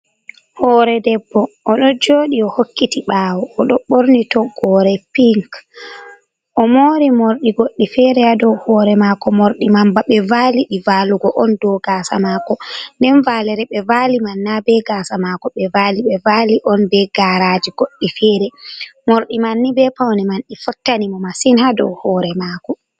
Hoore debbo, oɗo jooɗi o hokkiti ɓaawo, oɗo ɓorni toggore pink, o mori morɗi goɗɗi fere ha dow hoore maako, morɗi man ba ɓe vali ɗi vaalugo on dou gaasa maako, nden vaalere ɓe vaali man na be gaasa maako ɓe vaali, ɓe vaali on be garaaji goɗɗi fere, morɗi man ni be paune man ɗi fottani mo masin ha dou hoore maako.